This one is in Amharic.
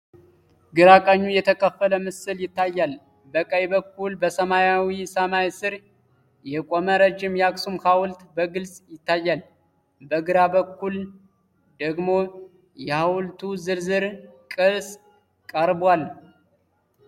ግራ ቀኙ የተከፈለ ምስል ይታያል። በቀኝ በኩል በሰማያዊ ሰማይ ስር የቆመ ረጅም የአክሱም ሐውልት በግልጽ ይታያል፤ በግራ በኩል ደግሞ የሐውልቱ ዝርዝር ቅርፅ ቀርቧል።